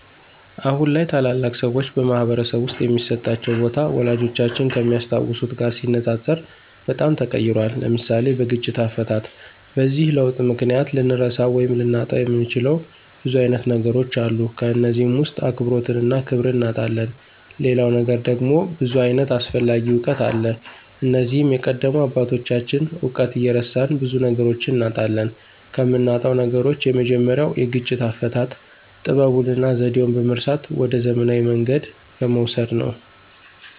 አሁን ላይ ታላላቅ ሰዎች በማኅበረሰብ ውስጥ የሚሰጣቸው ቦታ፣ ወላጆቻችን ከሚያስታውሱት ጋር ሲነጻጸር በጣም ተቀይሯል። (ለምሳሌ፦ በግጭት አፈታት) በዚህ ለውጥ ምክንያት ልንረሳው ወይም ልናጣው የምንችለው ብዙ አይነት ነገሮች አሉ ከነዚህም ውስጥ አክብሮትንና ክብርን እናጣለን ሌላው ነገር ደግሞ ብዙ ዓይነት አስፈላጊ እውቀት አለ እነዚህም የቀደሙ አባቶችን እውቀት እየረሳን ብዙ ነገሮችን እናጣለን። ከምናጣው ነገሮች የመጀመሪያው የግጭት አፈታት ጥበቡንና ዘዴውን በመርሳት ወደ ዘመናዊ መንገድ በመውሰድ ነው።